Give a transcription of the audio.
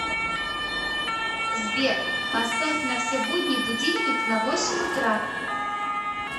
сбер поставь на все будни будильник на восемь утра